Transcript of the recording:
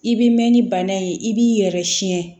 I bɛ mɛn ni bana ye i b'i yɛrɛ siɲɛ